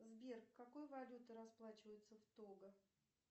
сбер какой валютой расплачиваются в того